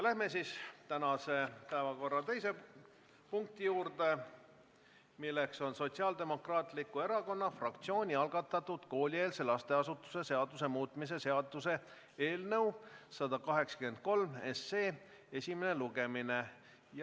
Läheme tänase päevakorra teise punkti juurde, milleks on Sotsiaaldemokraatliku Erakonna fraktsiooni algatatud koolieelse lasteasutuse seaduse muutmise seaduse eelnõu 183 esimene lugemine.